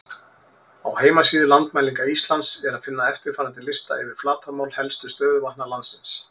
Á heimasíðu Landmælinga Íslands er að finna eftirfarandi lista yfir flatarmál helstu stöðuvatna landsins: